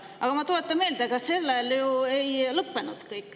Aga ma tuletan ka meelde, et sellega ju kõik ei lõppenud.